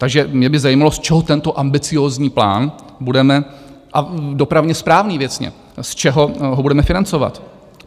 Takže mě by zajímalo, z čeho tento ambiciózní plán budeme - a dopravně správný věcně - z čeho ho budeme financovat?